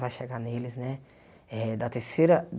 Vai chegar neles, né? Eh da terceira